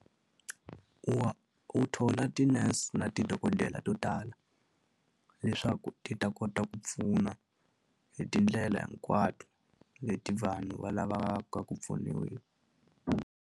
U wa u thola ti-nurse na tidokodela to tala leswaku ti ta kota ku pfuna hi tindlela hinkwato leti vanhu va lavaka ku pfuniwa.